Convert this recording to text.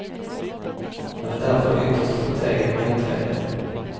Man är därför ytterst förtegen om utredningen.